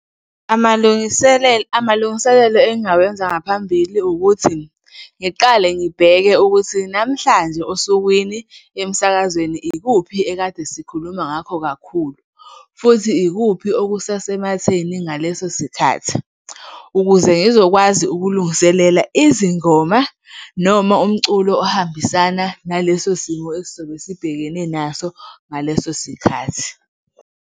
Amalungiselelo engingawenza ngaphambili ukuthi ngiqale ngibheke ukuthi, namhlanje osukwini emsakazweni, ikuphi ekade sikhuluma ngakho kakhulu futhi ikuphi okusasematheni ngaleso sikhathi ukuze ngizokwazi ukulungiselela izingoma noma umculo ohambisana naleso simo esizobe sibhekene naso ngaleso sikhathi.